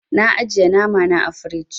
Na ajiye nama na ã firiji.